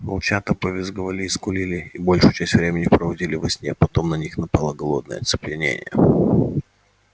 волчата повизгивали и скулили и большую часть времени проводили во сне потом на них напало голодное оцепенение